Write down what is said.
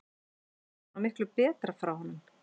Ég átti von á miklu betra frá honum.